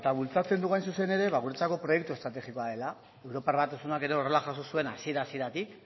bultzatzen dugu hain zuzen ere ba guretzako proiektu estrategikoa dela europar batasunak ere horrela jaso zuen hasiera hasieratik